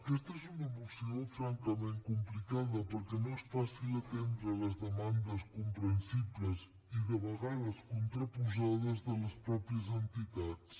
aquesta és una moció francament complicada perquè no és fàcil atendre les demandes comprensibles i de vegades contraposades de les mateixes entitats